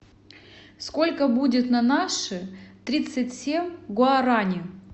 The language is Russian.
сколько будет на наши тридцать семь гуарани